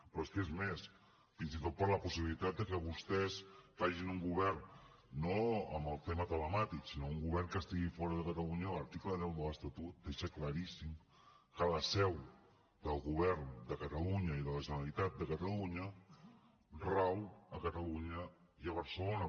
però és que és més fins i tot per la possibilitat que vostès facin un govern no amb el tema telemàtic sinó un govern que estigui fora de catalunya l’article deu de l’estatut deixa claríssim que la seu del govern de catalunya i de la generalitat de catalunya rau a catalunya i a barcelona